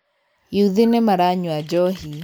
Yuthi nĩmaranyua njohi.